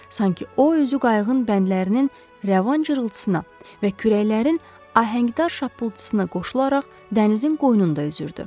Sanki o özü qayığın bəndlərinin rəvan cırıltısına və kürəklərin ahəngdar şappultusuna qoşularaq dənizin qoynunda üzürdü.